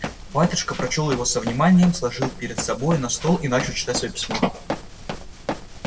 батюшка прочёл его со вниманием сложил перед собой на стол и начал читать своё письмо